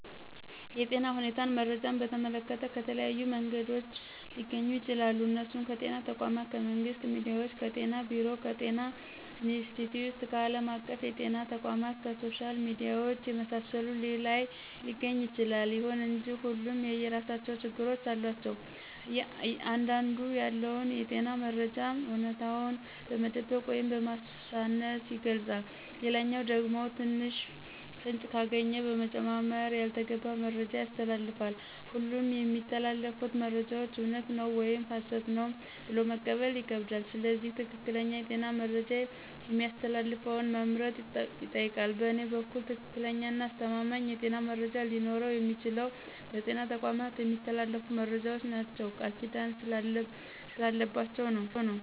የጤና ሁኔታን መረጃን በተመለከተ ከተለያዩ መንገዶች ሊገኙ ይችላሉ እነሱም ከጤና ተቋማት :ከመንግስት ሚዲያዎች :ከጤና ቢሮ :ከጤና ኢንስትቲዮት :ከአለም አቀፍ የጤና ተቋማት :ከሶሻል ሚዲያዎች የመሳሰሉት ላይ ሊገኝ ይችላል። ይሁን እንጂ ሁሉም የየራሳቸው ችግሮች አሏቸው አንዳንዱ ያለውን የጤና መረጃ አውነታውን በመደበቅ ወይም በማሳነስ ይገልጻል ሌላኛው ደግሞ ትንሽ ፍንጭ ካገኘ በመጨማመር ያልተገባ መረጃ ያስተላልፋል ሁሉም የሚተላለፉት መረጃዎች እውነት ነው ወይም ሀሰት ነው ብሎ መቀበል ይከብዳል ስለዚህ ትክክለኛ የጤና መረጃ የሚያስተላልፈውን መምረጥ ይጠይቃል በእኔ በኩል ትክክለኛና አስተማማኝ የጤና መረጃ ሊኖረው የሚችለው በጤና ተቋማት የሚተላለፉት መረጃዎች ናቸው ቃልኪዳን ስላለባቸው ነው።